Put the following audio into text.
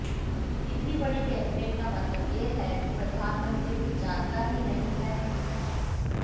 इतनी बड़ी कैबिनेट का मतलब यह है कि प्रधानमंत्री कुछ जानता ही नहीं है